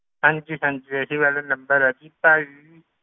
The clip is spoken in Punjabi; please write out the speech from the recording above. ਹਾਂਜੀ ਹਾਂਜੀ ਇਹੀ ਵਾਲਾ number ਹੈ ਜੀ ਭਾਈ